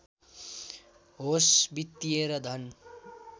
होस् वित्‍तीय र धन